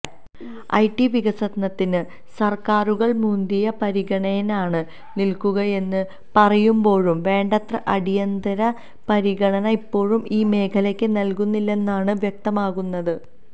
IT വികസനത്തിന് സര്ക്കാരുകള് മുന്തിയ പരിഗണനയാണ് നല്ക്കുകയെന്ന് പറയുമ്പോഴും വേണ്ടത്ര അടിയന്തിര പരിഗണന ഇപ്പോഴും ഈ മേഖലയക്ക് നല്ക്കുന്നില്ലെന്നാണ് വ്യക്തമാകുന്നത്